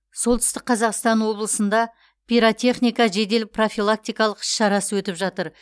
солтүстік қазақстан облысында пиротехника жедел профилактикалық іс шарасы өтіп жатыр